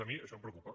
a mi això em preocupa